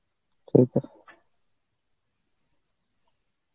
ঠিক আছে.